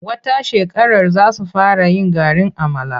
Wata shekarar za su fara yin garin amala.